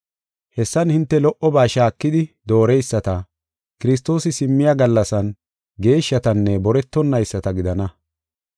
Hessan hinte lo77oba shaakidi, dooreyisata, Kiristoosi simmiya gallasan geeshshatanne boretonayisata gidana.